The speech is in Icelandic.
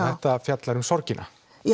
þetta fjallar um sorgina